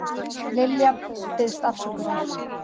Lilja biðst afsökunar